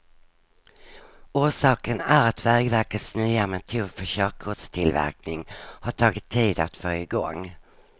Orsaken är att vägverkets nya metod för körkortstillverkning har tagit tid att få igång.